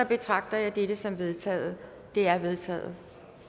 betragter jeg dette som vedtaget det er vedtaget